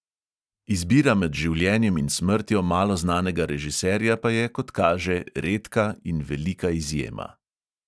Izbira med življenjem in smrtjo malo znanega režiserja pa je, kot kaže, redka in velika izjema.